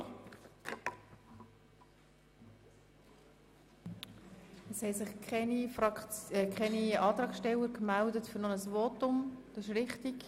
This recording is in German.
Es haben sich keine Antragsteller für ein weiteres Votum gemeldet.